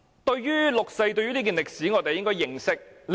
對於六四這段歷史，我們必須認識。